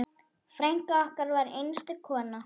Frænka okkar var einstök kona.